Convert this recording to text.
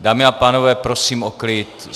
Dámy a pánové, prosím o klid!